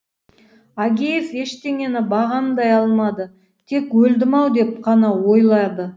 агеев ештеңені бағамдай алмады тек өлдім ау деп қана ойлады